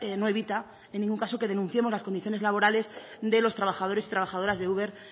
no evita en ningún caso que denunciemos las condiciones laborales de los trabajadores y trabajadoras de uber